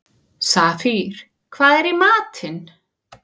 Safír, hvað er í matinn?